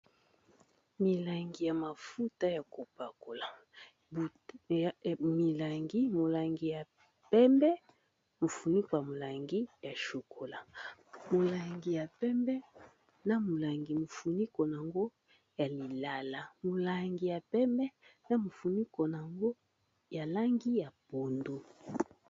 Milangi ya mafuta ya kopakola molangi ya pembe mofunika molangi ya chokola molangi ya pembe na molangi mofuniko nango ya lilala molangi ya pembe na mofinuko nango ya langi ya pondu.